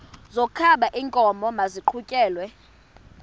wokaba iinkomo maziqhutyelwe